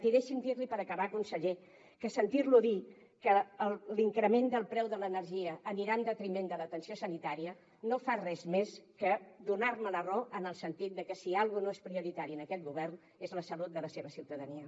i deixi’m dir li per acabar conseller que sentir lo dir que l’increment del preu de l’energia anirà en detriment de l’atenció sanitària no fa res més que donar me la raó en el sentit de que si alguna cosa no és prioritària en aquest govern és la salut de la seva ciutadania